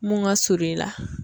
Mun ka surun i la.